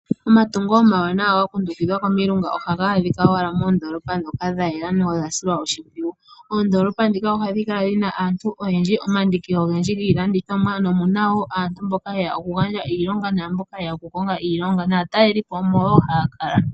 Omatungo omawanawa ga kundukidhwa komilunga ohaga adhika owala moondoolopa ndho dha yela nodha silwa oshimpwiyu. Oondoolopa ndhika ohadhi kala dhina aantu oyendji nosho woo omandiki giilandithomwa nomuna woo aantu mboka yeya oku gandja iilonga naamboka yeya oku konga iilonga. Naatalelipo omo woo haya kala.